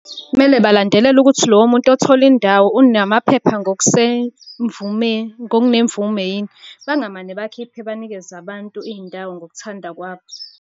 Kumele balandelele ukuthi lowo muntu othole indawo unamaphepha ngokusemvume, ngokunemvume yini. Bangamane bakhiphe banikeze abantu iy'ndawo ngokuthanda kwabo.